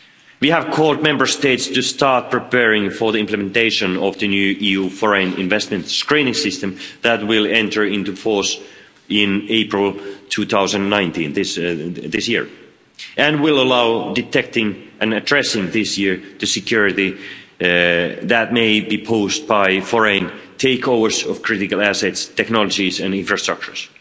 We have called on Member States to start preparing for the implementation of the new EU foreign investment screening system that will enter into force in April 2019 this year and will allow detecting and addressing this year the security that may be posed by foreign takeovers of critical assets, technologies and infrastructures.